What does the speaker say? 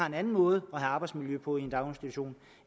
en anden måde at have arbejdsmiljø på i en daginstitution